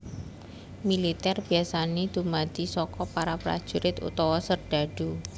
Militèr biasané dumadi saka para prajurit utawa serdhadhu